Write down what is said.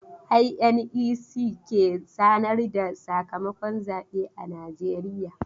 INEC ke sanar da sakamakon zabe a najeriya.